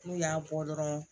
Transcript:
N'u y'a bɔ dɔrɔn